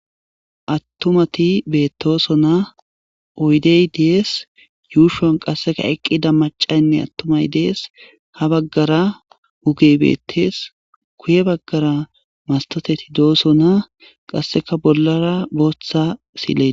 Attumati beettoso na oydey dees yuushon qasseka eqqida macaynne attumay dees ha baggara hugey bettees kuye baggara mastoteti doosona qasseka bollara booththa sile.